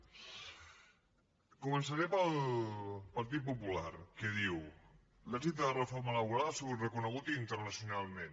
començaré pel partit popular que diu l’èxit de la reforma laboral ha sigut reconegut internacionalment